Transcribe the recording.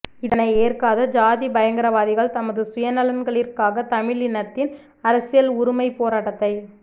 இதனை ஏற்காது சாதிப்பயங்கர வாதிகள் தமது சுயநலன் களிற்காக தமிழினத்தின் அரசியல் உருமைப்போரட்டத்தை